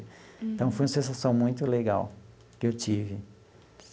Então, foi uma sensação muito legal que eu tive.